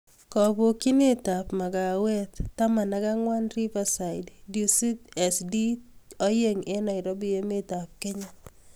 Kapokchinet ap Makawet taman ak angwan Riverside DusitSD2 eng Nairobi Emeet ap Kenya